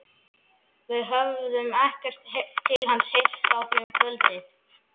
Við höfðum ekkert til hans heyrt frá því um kvöldið.